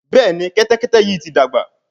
Béèni Kẹ́tẹ́kẹ́tẹ́ yí ti dàgbà.